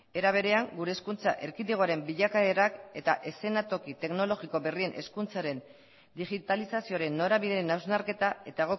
era berean gure hezkuntza erkidegoaren bilakaerak eta eszenatoki teknologiko berrien hezkuntzaren digitalizazioaren norabideen hausnarketa eta